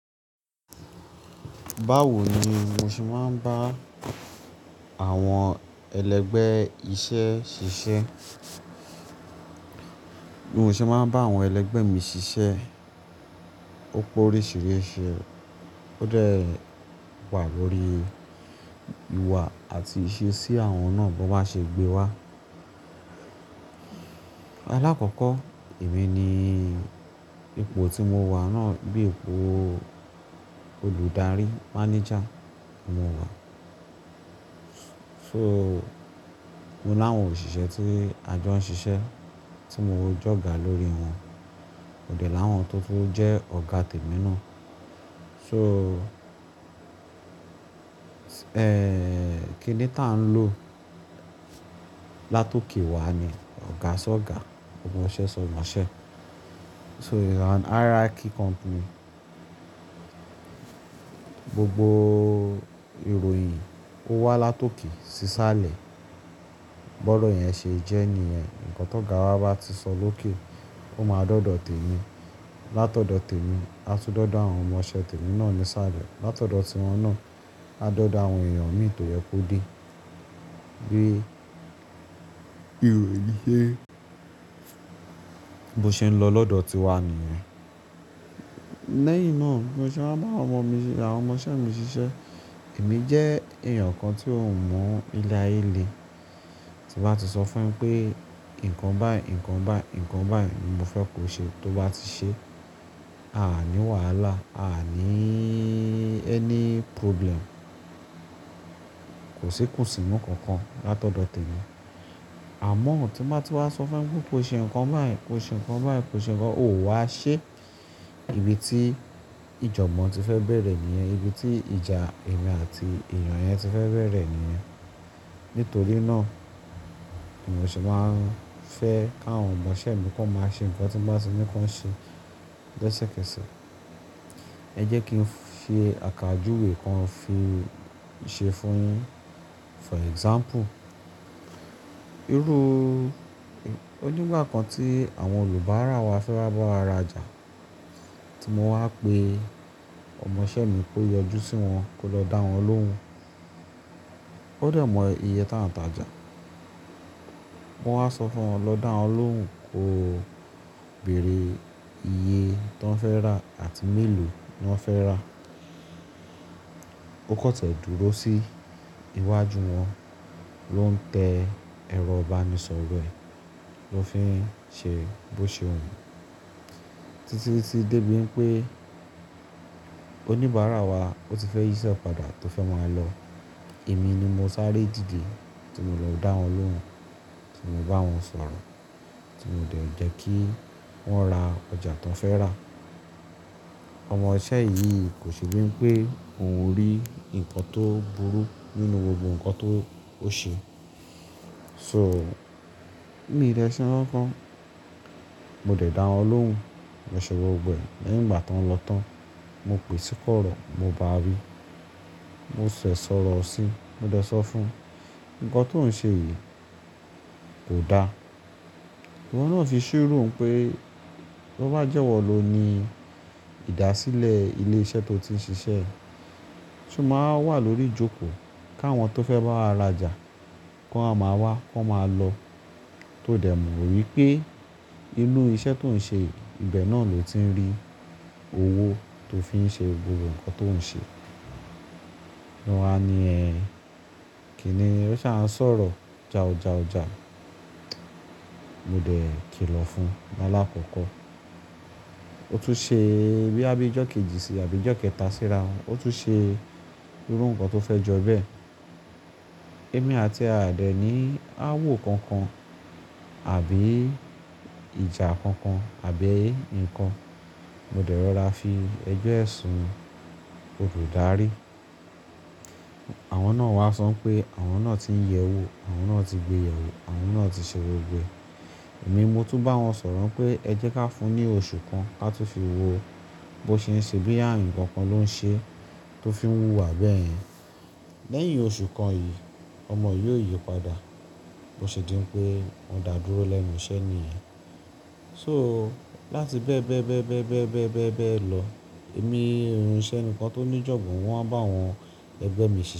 Báwo ni mo ṣe máa ń bá àwọn ẹlẹgbẹ́ iṣẹ́ ṣiṣẹ́? Mo ṣe máa ń bá àwọn ẹlẹgbẹ́ mi ṣiṣẹ́. Ó pe oríṣìíríṣìí. Ó dẹ̀ wà lórí ìwà àti ìṣe sí àwọn náà bó bá ṣe gbé wá. Alákọ̀kọ̀, èmi ni ipò tí mo wà náà bíi ipò olùdarí, mánéjà mo wà. So, mo láwọn òṣìṣẹ́ tí ajo ń ṣiṣẹ́ tí mo ń jọ́gà lórí wọn. mÓ dẹ láwọn tó fún jẹ́ ọ̀gá tèmi náà. So, kíni tá ń lò látoòkè wàá ni ọ̀gá ṣọ̀gá, ọmọṣẹ́ ṣọ̀mọṣẹ́. So hierarchy company gbogbo ìròyìn ó wá látoòkè sísàlẹ̀. Bọ́rọ̀ yẹn ṣe jẹ́ẹ́ni yẹn. Ǹkan tó ọ̀gá wa bá ti sọ lókè, ó máa dọ́dọ̀ tèmi. Látọ̀dọ̀ tèmi, a tún dọ́dọ̀ àwọn ọmọṣẹ́ tèmi náà ni sálẹ̀. Látọ̀dọ̀ tiwọn náà, a dọ́dọ̀ àwọn èèyàn mi tó yẹ kó dé. Bí ìròyìn ṣe ń lọ lọ́dọ̀ tiwa nìyẹn. Lẹ́yìn náà mo ṣe máa ń bá àwọn ọmọ mi, àwọn ọmọṣẹ́ mi ṣiṣẹ́. Èmi jẹ́ èèyàn kan tí ó ń mu ilé ayé lé. Tí bá ti sọ fún un pé ǹkan báyìí, ǹkan báyìí, ǹkan báyìí ni mo fẹ́ kó ṣe tó bá ti ṣe, a à ní wàhálà, a à ní ẹ́ní problem. Kò sí ikùnsi nú kankan látọ̀dọ̀ tèmi. Àmọ́ òo tí má ti wá sọ fún un pé kó ṣe ǹkan báyìí, kó ṣe ǹkan báyìí, kó ṣe ǹkan, òun a ṣe. Ibi tí ìjọgbon ti fẹ́ bẹ̀rẹ̀ nìyẹn. Ibi tí ìjà èmi àti èèyàn yẹn ti fẹ́ bẹ̀rẹ̀ nìyẹn. Nítorí náà, mo ṣe máa ń fẹ́ káwọn ọmọṣẹ́ mi kó máa ṣe ǹkan tí ń bá sọ ní kan ṣe lesẹ̀kẹsẹ̀. Ẹ jẹ́ kí n fi àkàjúwe kan fi ṣe fún yin. For example, irú-- ojúgbà kan tí àwọn Yorùbá ara wa fẹ́ bá wa rajà tí mo wá pe ọmọṣẹ́ mi kó yọjú sí wọn kó lọ dá wọn lóhùn. Ó dẹ̀ mọ iye tá ń tajà. Mo wá sọ fún wọn lọ dá wọn lóhùn kó bèrè iye tó ń fẹ́ rà àti mélòó ni wọ́n fẹ́ rà. Ó kọtiẹ̀ dúró sí iwájú wọn ló ń tẹ ẹrọ ìbánisọ̀rọ̀ ẹ̀ ló fi ń ṣe bó ṣe wun. Títí tí dé bíi pé oníbàárà wa ó ti fẹ́ yíṣẹ́ padà tó fẹ́ máa lọ. Èmi ni mo sáré dìde tí mo lọ dá wọn lóhùn, tí mo bá wọn sọ̀rọ̀, tí mo dẹ̀ jẹ́ kí wọ́n ra ọjà tó ń fẹ́ rà. Ọmọṣẹ́ yìí kò ṣe bíi pé òun rí ǹkan tó burú nínú gbogbo ǹkan tó ó ṣe. So, mí dẹse nkan kan, mo dẹ̀ dá wọn lóhùn, wọ́n ṣọ̀ro gbẹ. Lẹ́yìn ìgbà tó ń lọ tán, mo pè sí kọ̀rọ̀ mo bá a wí, mo ṣẹ̀ sọ̀rọ̀ sí i, mo dẹ̀ sọ fún un ǹkan tó ń ṣe yìí kò da. Òun náà fi ṣírù ún pé bó bá jẹ́ ẹ́ wọ̀ ló ni ìdásílẹ̀ ilé iṣẹ́ tó ti ń ṣiṣẹ́. Ṣé mo máa wà lórí ìjókòó káwọn tó fẹ́ bá wa rajà kó máa wá kó máa lọ. Tó dẹ̀ mọ wípé inú iṣẹ́ tó ń ṣe ibẹ̀ náà lò ti ń rí owó tó fi ń ṣe gbogbo ǹkan tó ń ṣe. Niwọn a ni ẹ̀. Kíni ẹ ṣa ń sọ̀rọ̀ ja, oja, oja. Mo dẹ̀ kìlọ̀ fún un ní alákọ̀kọ́. Ó tún ṣe bí i bí ẹjọ́ kejì sí i àbí ẹjọ́ kẹta síra wọn. Ó tún ṣe irú ǹkan tó fẹ́ jọ ẹ́ bẹ́ẹ̀. Èmi àti a dẹ̀ ní áwọ̀ kankan àbí ìjà kankan àbí ǹkan. Mo dẹ̀ rọra fi ẹjọ́ ẹ̀ sun olùdarí. Àwọn náà wá sọ pé àwọn náà tí ń yẹ wó, àwọn náà tí gbé yẹ̀wò, àwọn náà tí ṣe ro gbẹ. Èmi mo tún bá wọn sọ̀rọ̀ pé ẹ jẹ́ ká fún un ní oṣù kan kí a tó fi wo bó ṣe ń ṣe bí i ààrin ǹkan kan ló ń ṣe tó fi ń wú wa bẹ́ẹ̀. Lẹ́yìn oṣù kan yìí, ọmọ yìí yóò yípadà bó ṣe di pé wọn dàrú lẹ́nu iṣẹ́ ni yìí. So láti bẹ́ẹ̀ bẹ́ẹ̀ bẹ́ẹ̀ bẹ́ẹ̀ bẹ́ẹ̀ bẹ́ẹ̀ bẹ́ẹ̀ bẹ́ẹ̀ lọ, èmi irun iṣẹ́ nìkan tó ní ìjọ̀gbọ̀n wọn bá àwọn ẹgbẹ́ mi ṣe.